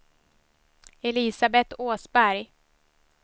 Elisabeth Åsberg